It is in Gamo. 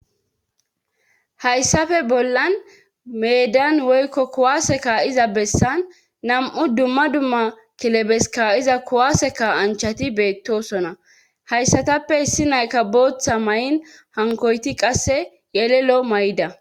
hayssafe bollan meedan woykko kuwaseka iza bessan nam7u dumma dumma kilebeska iza kuwaseka anchati beettosona hayssatappe hissi nayka booththa may7in hankoyti qasse yelelo may7da